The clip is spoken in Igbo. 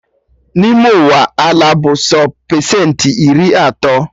N'ime Ụwa, ala bụ sọ pesentị iri atọ